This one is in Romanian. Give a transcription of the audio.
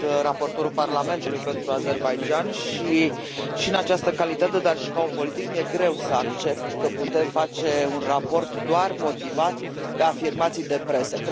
Sunt raportorul Parlamentului pentru Azerbaidjan și, în această calitate, dar și ca om politic, mi e greu să accept că putem face un raport doar motivat de afirmații de presă.